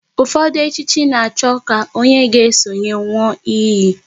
Ụfọdụ echichi na-achọ ka onye a ga esonye nwụọ iyi